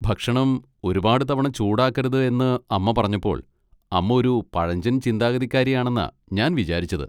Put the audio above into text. ഭക്ഷണം ഒരുപാട് തവണ ചൂടാക്കരുത് എന്ന് അമ്മ പറഞ്ഞപ്പോൾ അമ്മ ഒരു പഴഞ്ചൻ ചിന്താഗതിക്കാരിയാണെന്നാ ഞാൻ വിചാരിച്ചത്.